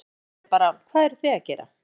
Maður er bara, hvað eruð þið að gera?